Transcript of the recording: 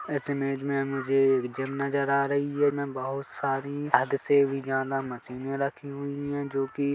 इस इमेज में मुझे एक जिम नज़र आ रही है इसमें बहोत सारी हद से भी ज्यादा मशीनें रखी हुई है जो कि--